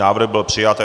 Návrh byl přijat.